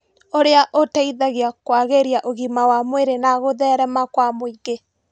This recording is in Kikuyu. Ũrĩa ũteithagia kwagĩria ũgima wa mwĩrĩ na gũtherema kwa mũingĩ